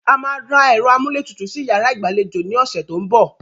A máa ra ẹ̀rọ amúlétutù sí yàrá ìgbàlejò ní ọ̀sẹ̀ tó ń bọ̀